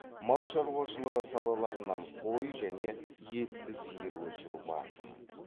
мал шаруашылығы салаларынан қой және етті сиыр өсіру басым